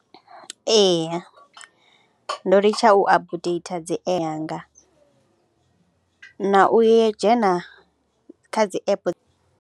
Eya ndo litsha u updater dzi app dzanga na u ye dzhena kha dzi app.